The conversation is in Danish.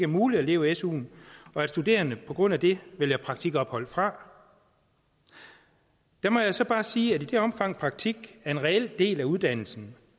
muligt at leve af suen og at studerende på grund af det vælger praktikophold fra der må jeg så bare sige at i det omfang praktik er en reel del af uddannelsen